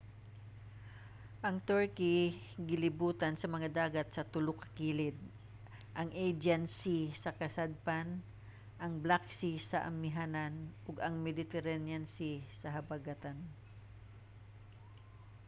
ang turkey gilibutan sa mga dagat sa tulo ka kilid: ang aegean sea sa kasadpan ang black sea sa amihanan ug ang mediterranean sea sa habagatan